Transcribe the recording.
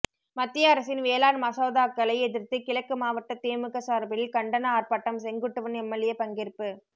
மத்திய அரசின் வேளாண் மசோதாக்களை எதிர்த்து கிழக்கு மாவட்ட திமுக சார்பில் கண்டன ஆர்ப்பாட்டம் செங்குட்டுவன் எம்எல்ஏ பங்கேற்பு